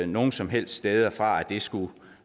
nogen som helst steder fra at det skulle